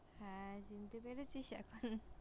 হ্যাঁ চিনতে পেরেছিস এখন?